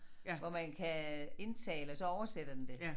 Hvor man kan indtale og så oversætter den det